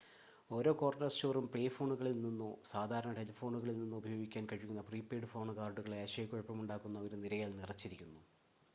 ഓരോ കോർണർ സ്റ്റോറും പേ-ഫോണുകളിൽ നിന്നോ സാധാരണ ടെലിഫോണുകളിൽ നിന്നോ ഉപയോഗിക്കാൻ കഴിയുന്ന പ്രീ-പെയ്ഡ് ഫോൺ കാർഡുകളുടെ ആശയക്കുഴപ്പമുണ്ടാക്കുന്ന ഒരു നിരയാൽ നിറച്ചിരിക്കുന്നു